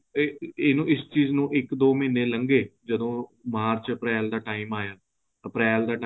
ਇਹਨੂੰ ਇਸ ਚੀਜ ਨੂੰ ਇੱਕ ਦੋ ਮਹੀਨੇ ਲੰਗੇ ਤੋ ਮਾਰਚ ਅਪ੍ਰੈਲ ਦਾ time ਆਇਆ ਅਪ੍ਰੈਲ ਦਾ time